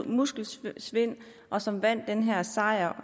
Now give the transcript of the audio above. muskelsvind og som vandt den her sejr